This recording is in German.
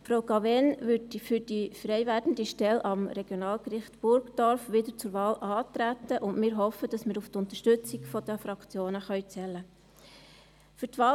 Frau Cavegn würde für die frei werdende Stelle am Regionalgericht Burgdorf wieder zur Wahl antreten, und wir hoffen, dass wir auf die Unterstützung der Fraktionen zählen können.